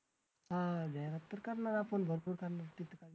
हां जाहिरात तर करणार आपण भरपूर करणार तिथं